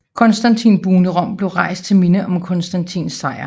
Konstantinbuen i Rom blev rejst til minde om Konstantins sejr